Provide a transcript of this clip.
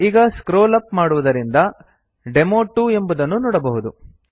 ಈಗ scroll up ಮಾಡುವುದರಿಂದ demo two ಎಂಬುದನ್ನು ನೋಡಬಹುದು